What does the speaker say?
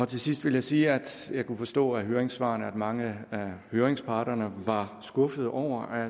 til sidst vil jeg sige at jeg kunne forstå af høringssvarene at mange af høringsparterne var skuffede over at